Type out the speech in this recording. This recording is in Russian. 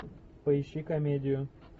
поищи комедию